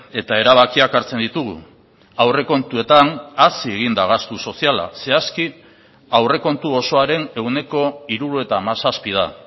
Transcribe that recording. eta erabakiak hartzen ditugu aurrekontuetan hazi egin da gastu soziala zehazki aurrekontu osoaren ehuneko hirurogeita hamazazpi da